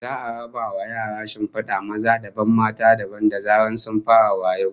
Za'a raba wa yaran shinfida maza dabam mata dabam da zaran sun fara wayo